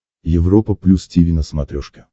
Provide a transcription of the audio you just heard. европа плюс тиви на смотрешке